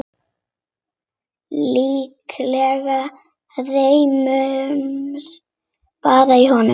Líklega rymur bara í honum.